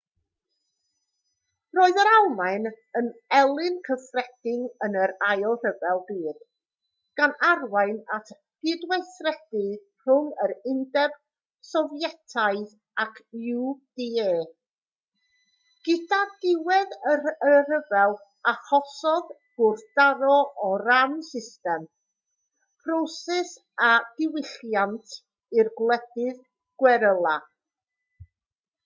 roedd yr almaen yn elyn cyffredin yn yr ail ryfel byd gan arwain at gydweithredu rhwng yr undeb sofietaidd ac uda gyda diwedd y rhyfel achosodd gwrthdaro o ran system proses a diwylliant i'r gwledydd gweryla